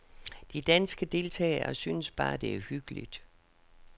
De danske deltagere synes bare, det er hyggeligt.